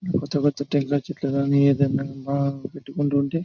పెద్ద పెద్ద చెట్లు గాని ఏదైనా బాగా పెట్టుకుంటూ ఉంటుంటే.